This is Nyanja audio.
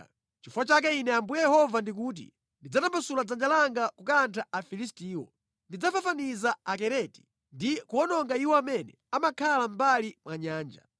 Nʼchifukwa chake Ine Ambuye Yehova ndikuti: Ndidzatambasula dzanja langa kukantha Afilistiwo. Ndidzafafaniza Akereti ndi kuwononga iwo amene amakhala mʼmbali mwa nyanja.